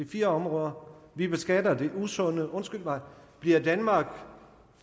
fire områder vi beskatter det usunde undskyld mig bliver danmark